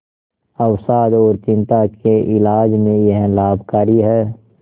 अवसाद और चिंता के इलाज में यह लाभकारी है